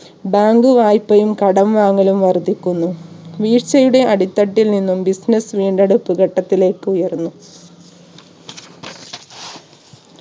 bank വായ്പയും കടം വാങ്ങലും വർധിക്കുന്നു. വീഴ്ചയുടെ അടിത്തട്ടിൽ നിന്നും business വീണ്ടെടുപ്പ് ഘട്ടത്തിലേക്ക് ഉയരുന്നു